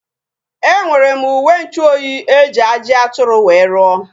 Enwere m uwenchuoyi eji ajị atụrụ wee ruo